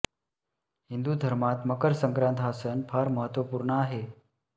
हिंदू धर्मात मकर संक्रात हा सण फार महत्त्वपूर्ण आहे